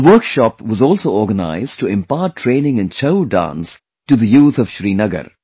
A workshop was also organized to impart training in 'Chhau' dance to the youth of Srinagar